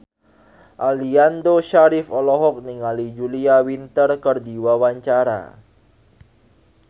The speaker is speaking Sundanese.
Aliando Syarif olohok ningali Julia Winter keur diwawancara